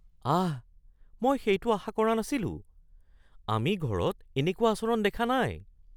আঃ, মই সেইটো আশা কৰা নাছিলোঁ। আমি ঘৰত এনেকুৱা আচৰণ দেখা নাই।